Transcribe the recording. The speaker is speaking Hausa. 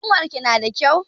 Ƙanwarka nada kyau?